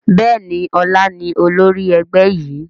Bẹ́ẹ̀ni, ọlá ni olórí ẹgbẹ́ yìí.